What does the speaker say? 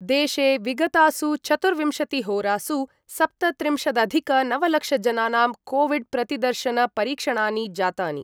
देशे विगतासु चतुर्विंशतिहोरासु सप्तत्रिंशदधिकनवलक्षजनानां कोविड्प्रतिदर्शनपरीक्षणानि जातानि।